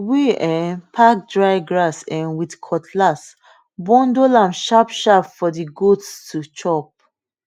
we um pack dry grass um with cutlass bundle am sharpsharp for the goats to chop